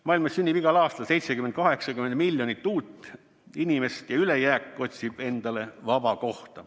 Maailmas sünnib igal aastal 70–80 miljonit uut inimest ja ülejääk otsib endale vaba kohta.